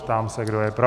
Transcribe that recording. Ptám se, kdo je pro.